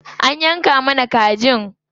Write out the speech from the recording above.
An yanka mana kajin.